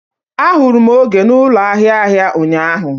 Ahụrụ m Oge na ụlọ ahịa ahịa ụnyaahụ.